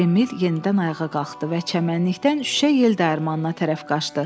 Emil yenidən ayağa qalxdı və çəmənlikdən şüşə yel dəyirmanına tərəf qaçdı.